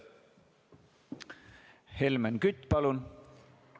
Helmen Kütt, palun!